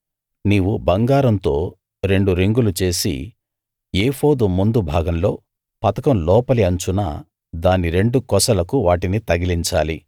నీవు బంగారంతో రెండు రింగులు చేసి ఏఫోదు ముందు భాగంలో పతకం లోపలి అంచున దాని రెండు కొసలకు వాటిని తగిలించాలి